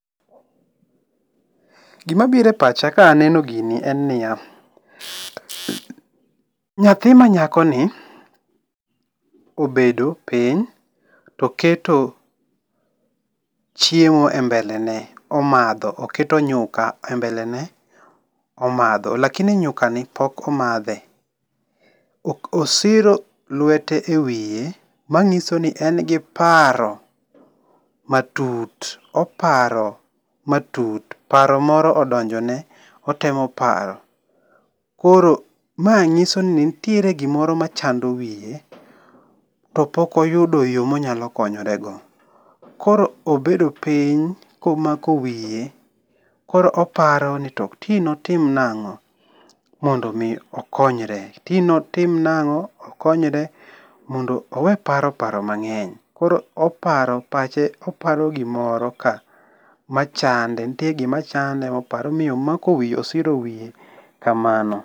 Gima biro e pacha ka aneno gini en niya. Nyathi ma nyako ni obedo piny to oketo chiemo e mbele ne omadho, oketo nyuka e mbelene omadho. Lakini nyuka ni pok omadhe. Osiro lwete e wiye manyiso ni en gi paro matut. Oparo matut. Paro moro odonjo ne, otemo paro. Koro ma nyisoni nitiere gimoro ma chando wiye to pok oyudo yo monyalo konyorego . Koro obedo piny komako wiye koro oparo ni to ti ne otim nang'o mondo mi okonyre. Ti notim nang'o okonyre mondo owe paro paro mang'eny. Koro oparo, pache oparo gimoro ka machande, nitie gima chande moparo momiyo omako wiye, osiro wiye kamano.